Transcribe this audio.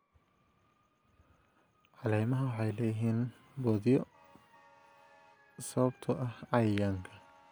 Caleemaha waxay leeyihiin boodhyo sababtoo ah cayayaanka.